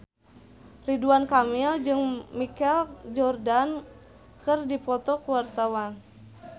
Ridwan Kamil jeung Michael Jordan keur dipoto ku wartawan